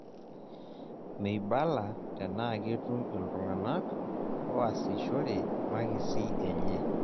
Meibalaa tenaa ketum iltung'anak oasishore makisi enye.